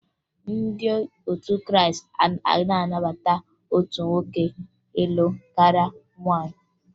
Ndị otu Krịịstị anaghị anabata otu nwoke ịlụ karịa nwaanyị